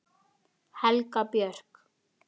Helga Björk.